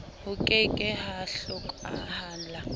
ho ke ke ha hlokahala